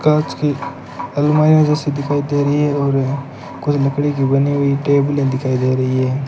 कांच की अलमारियां जैसी दिखाई दे रही है और कोई लकड़ी की बनी हुई टेबलें दिखाई दे रही हैं।